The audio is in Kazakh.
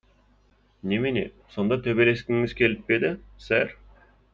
немене сонда төбелескіңіз келіп пе еді сэр